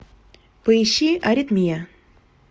поищи аритмия